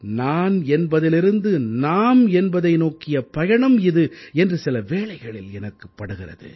நான் என்பதிலிருந்து நாம் என்பதை நோக்கிய பயணம் இது என்று சில வேளைகளில் எனக்குப்படுகிறது